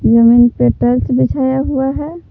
जमीन पे बिछाया हुआ है।